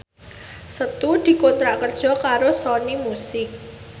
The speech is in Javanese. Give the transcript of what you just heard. Setu dikontrak kerja karo Sony Music